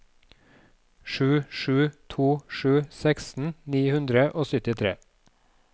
sju sju to sju seksten ni hundre og syttitre